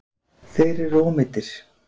Þeir eru ómeiddir